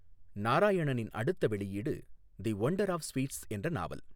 நாராயணனின் அடுத்த வெளியீடு 'the vendor of sweets' என்ற நாவல்.